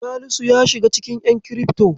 Salisu ya shiga cikin ƴan kirifto.